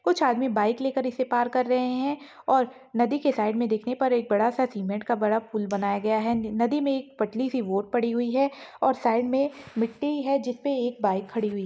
कुछ आदमी बाइक लेकर इसे पार कर रहे है और नदी के साइड देखने पर एक बड़ा सा सिमेन्ट का बड़ा पुल बनाया गया है नदी मे एक पतली सी बोट पड़ी हुई है और साइड मे मिट्टी है जिस पे एक बाइक खड़ी हुई।